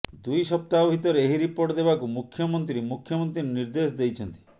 ଦୁଇ ସପ୍ତାହ ଭିତରେ ଏହି ରିପୋର୍ଟ ଦେବାକୁ ମୁଖ୍ୟମନ୍ତ୍ରୀ ମୁଖ୍ୟମନ୍ତ୍ରୀ ନିର୍ଦ୍ଦେଶ ଦେଇଛନ୍ତି